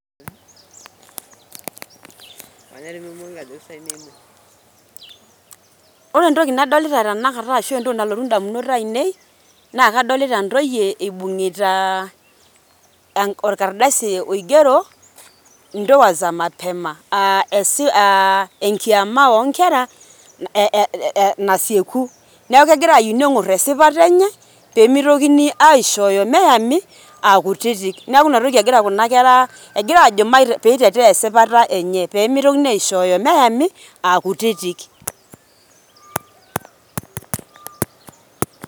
Ore entoki nadolita tenakata, ashu entoki nalotu indamunot ainei, naa kadolita intoyie eibung'ita orkadasi oigero, ndoa za mapema aa enkiama oo nkera nasieku, neaku egira ayieu neng'or esipata enye, pee meitokini aishooyo meyami aa kutitik, neaku inatoki egira kuna kera egira ajo pee eitetea esipata enye pee meitokini aishooyo meyami aa kutiti.